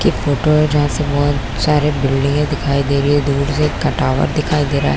एक फोटो है जहाँ से बहुत सारे बिल्डिंगे दिखाई दे रही है दूर से एक टावर दिखाई दे रहा है ।